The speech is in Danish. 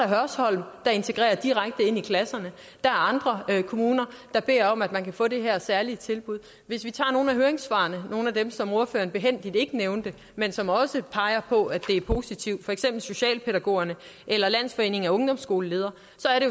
hørsholm der integrerer direkte ind i klasserne og der er andre kommuner der beder om at man kan få det her særlige tilbud hvis vi tager nogle af høringssvarene nogle af dem som alternativets ordfører behændigt ikke nævnte men som også peger på at det er positivt for eksempel fra socialpædagogerne eller landsforeningen af ungdomsskoleledere